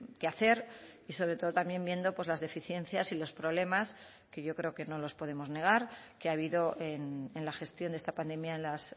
que hacer y sobre todo también viendo las deficiencias y los problemas que yo creo que no nos podemos negar que ha habido en la gestión de esta pandemia en las